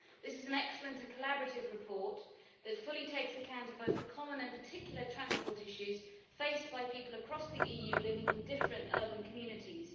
This is an excellent and collaborative report that fully takes account of both the common and particular transport issues faced by people across the EU living in different urban communities.